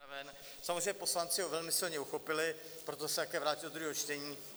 Samozřejmě poslanci ho velmi silně uchopili, proto se také vrátil do druhého čtení.